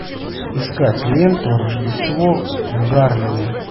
искать ленту рождество в гарлеме